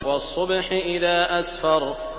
وَالصُّبْحِ إِذَا أَسْفَرَ